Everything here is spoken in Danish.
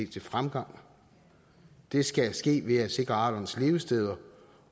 til fremgang det skal ske ved at sikre arternes levesteder